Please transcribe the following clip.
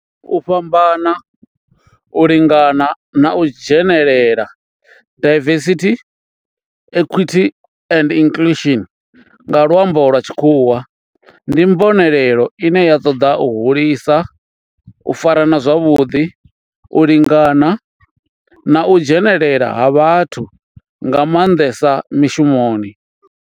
U fhambana, u lingana na u dzhenelela diversity, equity and inclusion nga lwambo lwa tshikhuwa ndi mbonelelo ine ya toda u hulisa u farana zwavhuḓi, u lingana na u dzhenelela ha vhathu nga mandesa mishumoni.